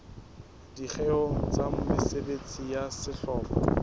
dikgeong tsa mesebetsi ya sehlopha